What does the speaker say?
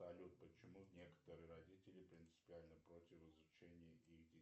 салют почему некоторые родители принципиально против изучения их